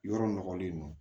Yɔrɔ nɔgɔlen don